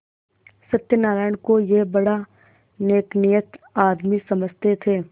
सत्यनाराण को यह बड़ा नेकनीयत आदमी समझते थे